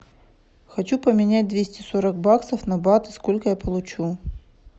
хочу поменять двести сорок баксов на баты сколько я получу